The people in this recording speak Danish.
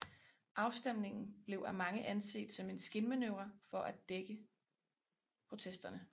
Afstemningen blev af mange anset som en skinmanøvre for at dæmpe protesterne